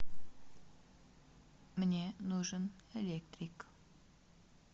мне нужен электрик